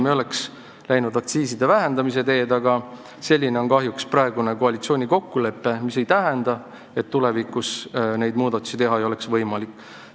Me oleks läinud aktsiiside vähendamise teed, aga selline on kahjuks praegu koalitsiooni kokkulepe, mis muidugi ei tähenda, et tulevikus neid muudatusi teha ei ole võimalik.